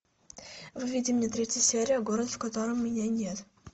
выведи мне третью серию город в котором меня нет